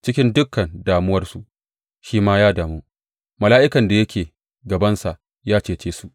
Cikin dukan damuwarsu shi ma ya damu, mala’ikan da yake gabansa ya cece su.